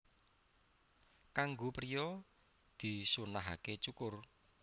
Kanggo priya disunnahaké cukur